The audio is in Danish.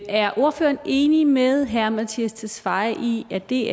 er ordføreren enig med herre mattias tesfaye i at det